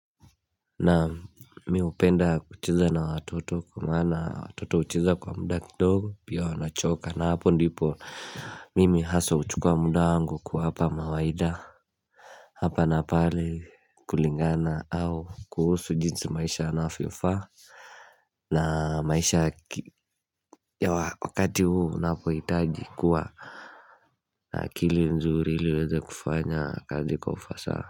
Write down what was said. Na mimi hupenda kucheza na watoto kwa maana watoto hucheza kwa muda kidogo, pia wanachoka na hapo ndipo Mimi hasa huchukua muda wangu kuwapa mawaida. Hapa na pale, kulingana na jinsi maisha yanavyofaa. Na maisha ya wakati huu unapoitaji kuwa na akili nzuri ili uweze kufanya kazi kwa ufasaha.